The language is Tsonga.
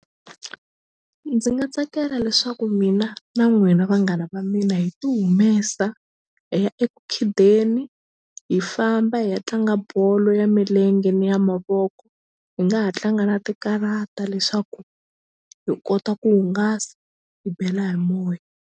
Ndzi nga tsakela leswaku mina na n'wina vanghana va mina hi ti humesa hi ya eku khideni hi famba hi ya tlanga bolo ya milenge ni ya mavoko hi nga ha tlanga na ti karata leswaku hi kota ku hungasa hi bela hi moya.